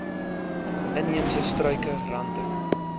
inheemse struike rante